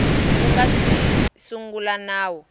ku nga si sungula nawu